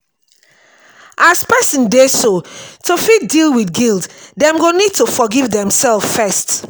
as person dey so to fit deal with guilt dem go need to forgive dem self first